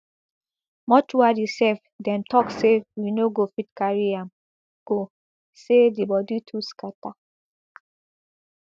mortuary sef dem tok say we no go fit carry am go say di body too scata